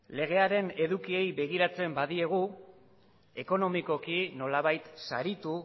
legearen edukiei begiratzen badiegu ekonomikoki nolabait saritu